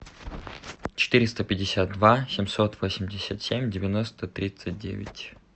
четыреста пятьдесят два семьсот восемьдесят семь девяносто тридцать девять